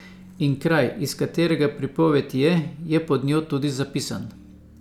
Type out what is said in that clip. In kraj, iz katerega pripoved je, je pod njo tudi zapisan.